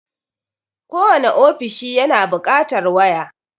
Kowane ofishi yana buƙatar waya.